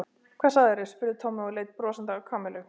Hvað sagðirðu? spurði Tommi og leit brosandi á Kamillu.